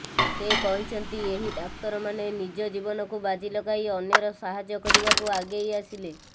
ସେ କହିଛନ୍ତି ଏହି ଡାକ୍ତରମାନେ ନିଜ ଜୀବନକୁ ବାଜି ଲଗାଇ ଅନ୍ୟର ସାହାଯ୍ୟ କରିବାକୁ ଆଗେଇ ଆସିଲେ